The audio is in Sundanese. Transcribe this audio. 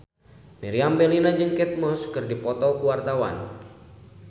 Meriam Bellina jeung Kate Moss keur dipoto ku wartawan